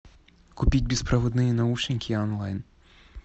купить беспроводные наушники онлайн